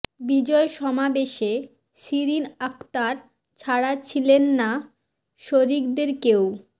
বিজয় সমাবেশে শিরিন আক্তার ছাড়া ছিলেন না শরীকদের কেউ